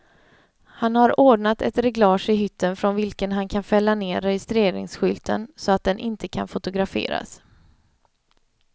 Han har ordnat ett reglage i hytten från vilken han kan fälla ned registreringsskylten, så att den inte kan fotograferas.